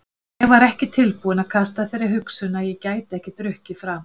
En ég var ekki tilbúinn að kasta þeirri hugsun að ég gæti ekki drukkið framar.